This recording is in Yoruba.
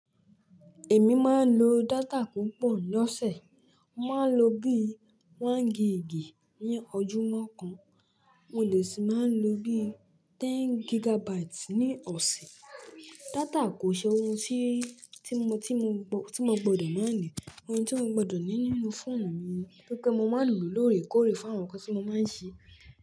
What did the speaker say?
Èmi máa ń lo data púpọ̀ lọ́sẹ̀. Mo máa ń lo bí i one gigi ní ojúmọ́ kan, mo lè sì máa ń lo bí i tẹ́n gigabyte ní ọ̀sẹ̀. Data kò ṣe ohun tí, tí mo, tí mo po, ti mo gbọdọ̀ máa ní, ohun ti o gbọdọ̀ ní nínú fóònù mi, tori pe mo máa ń lò lóòrèkóòrè fàwọn nǹkan tí mo máa ń ṣe.